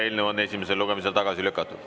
Eelnõu on esimesel lugemisel tagasi lükatud.